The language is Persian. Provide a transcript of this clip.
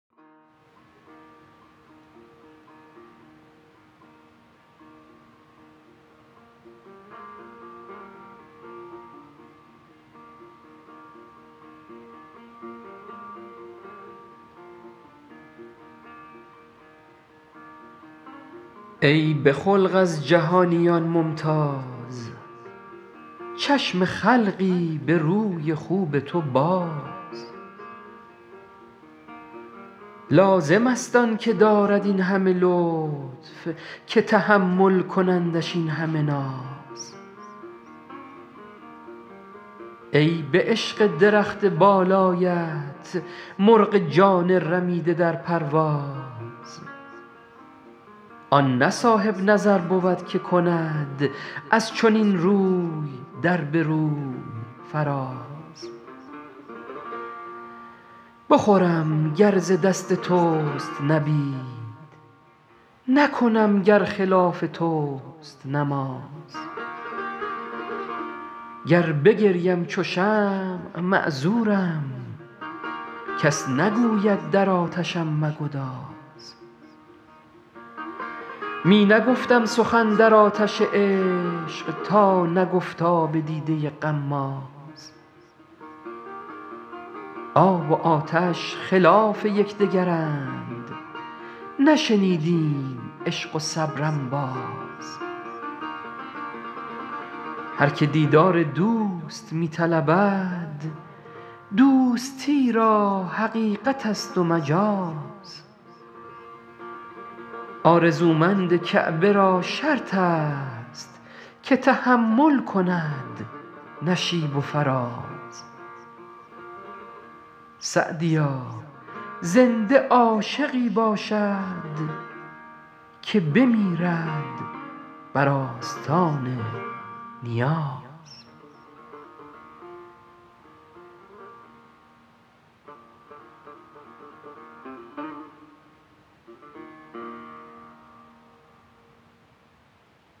ای به خلق از جهانیان ممتاز چشم خلقی به روی خوب تو باز لازم است آن که دارد این همه لطف که تحمل کنندش این همه ناز ای به عشق درخت بالایت مرغ جان رمیده در پرواز آن نه صاحب نظر بود که کند از چنین روی در به روی فراز بخورم گر ز دست توست نبید نکنم گر خلاف توست نماز گر بگریم چو شمع معذورم کس نگوید در آتشم مگداز می نگفتم سخن در آتش عشق تا نگفت آب دیده غماز آب و آتش خلاف یک دگرند نشنیدیم عشق و صبر انباز هر که دیدار دوست می طلبد دوستی را حقیقت است و مجاز آرزومند کعبه را شرط است که تحمل کند نشیب و فراز سعدیا زنده عاشقی باشد که بمیرد بر آستان نیاز